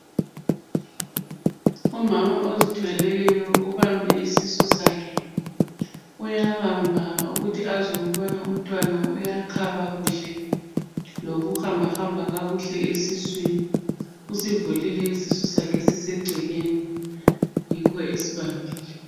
Umama ozithweleyo ubambe isisu sakhe ,uyabamba ukuthi azwe ukubana umntwana uyakhaba kuhle, lokuhambahamba kakuhle esiswini. Usivulile isisu sakhe sisegcekeni yikho esibambile.